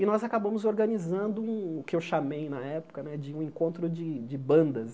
E nós acabamos organizando o que eu chamei na época né de um encontro de de bandas.